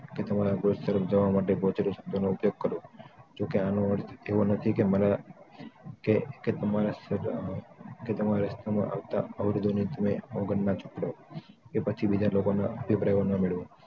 કે તમારા goals તરફ જવા માટે સ્પષ્ટ શબ્દ નો ઉપયોગ કરો જો કે આનો અર્થ એવો નથી કે તમારા રસ્તા માં આવતાં અવરોધો ની તમે અવગણના જ કરો કે પછી બીજા લોકો ને પરથી પ્રેરણા ન મેળવો